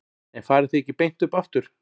En farið þið ekki beint upp aftur?